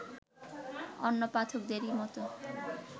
অন্য পাঠকদেরই মতো